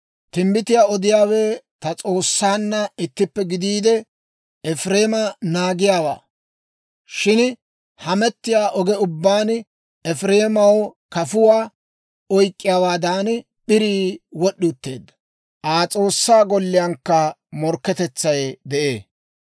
Timbbitiyaa odiyaawe ta S'oossaanna ittippe gidiide, Efireema naagiyaawaa. Shin hamettiyaa oge ubbaan Efireemaw kafuwaa oyk'k'iyaawaadan, p'irii wod'd'i utteedda; Aa S'oossaa golliyaankka morkketetsay de'ee.